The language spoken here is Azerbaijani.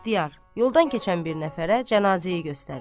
İxtiyar yoldan keçən bir nəfərə cənazəyi göstərir.